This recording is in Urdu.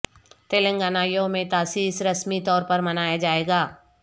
تلنگانہ یوم تاسیس رسمی طور پر منایا جائے گا